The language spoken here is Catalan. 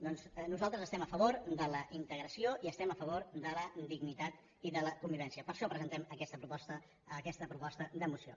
doncs nosaltres estem a favor de la integració i estem a favor de la dignitat i de la convivència per això presentem aquesta proposta de moció